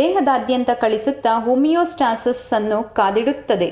ದೇಹದಾದ್ಯಂತ ಕಳಿಸುತ್ತಾ ಹೋಮಿಯೋಸ್ಟಾಸಿಸ್ ಅನ್ನು ಕಾದಿಡುತ್ತದೆ